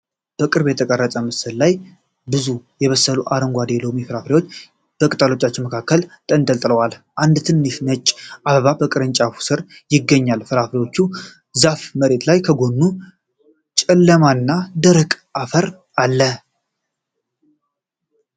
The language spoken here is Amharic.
በቅርብ የተቀረጸው ምስል ላይ ብዙ ያልበሰሉ አረንጓዴ የሎሚ ፍሬዎች ከቅጠሎች መካከል ተንጠልጥለዋል። አንድ ትንሽ ነጭ አበባ በቅርንጫፎች ስር ይገኛል። የፍራፍሬው ዛፍ መሬት ላይ ከጎኑ ጨለማና ደረቅ አፈር አለ።